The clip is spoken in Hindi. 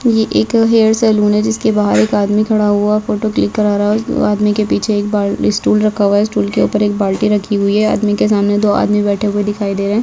ये एक हैयर सेलून है जिसके बाहर एक आदमी खड़ा हुआ फोटो क्लिक करा रहा है इस आदमी के पीछे एक बाल स्टूल रखा हुआ है स्टूल के ऊपर बाल्टी रखी हुई है आदमी के सामने दो आदमी बैठे हुये दिखाई दे रहे है।